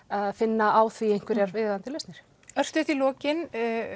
að finna á því einhverjar viðeigandi lausnir já örstutt í lokin